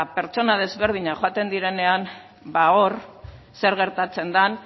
pertsona desberdinak joaten direnean ba hor zer gertatzen dan